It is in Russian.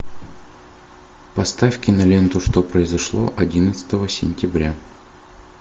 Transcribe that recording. поставь киноленту что произошло одиннадцатого сентября